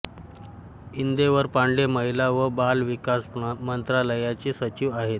इंदेवर पांडे महिला व बाल विकास मंत्रालयाचे सचिव आहेत